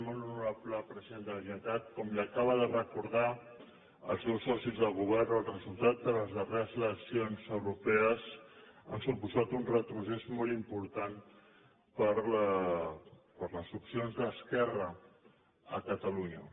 molt honorable president de la generalitat com li acaben de recordar el seus socis de govern el resultat de les darreres eleccions europees ha suposat un retrocés molt important per a les opcions d’esquerra a catalunya